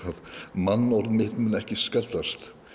mannorð mitt mun ekki skaðast